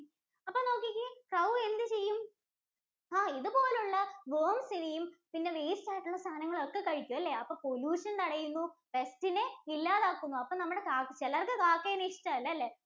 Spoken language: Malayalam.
അപ്പൊ നോക്കിക്കേ Crow എന്ത് ചെയ്യും? ആഹ് ഇതുപോലുള്ള worms ഇനെയും, പിന്നെ waste ആയിട്ടുള്ള സാധനങ്ങളെയും ഒക്കെ കഴിക്കും. അല്ലേ? അപ്പോ pollution തടയുന്നു pest ഇനെ ഇല്ലാതാക്കുന്നു അപ്പൊ നമ്മുടെ ചിലർക്ക് കാക്കേനെ ഇഷ്ട്ടമല്ല അല്ലേ?